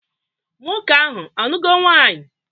Nwoke ahụ anugo nwaanyị?